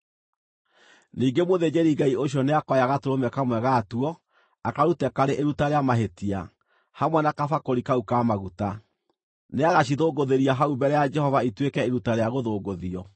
“Ningĩ mũthĩnjĩri-Ngai ũcio nĩakoya gatũrũme kamwe gatuo, akarute karĩ iruta rĩa mahĩtia, hamwe na kabakũri kau ka maguta; nĩagacithũngũthĩria hau mbere ya Jehova ituĩke iruta rĩa gũthũngũthio.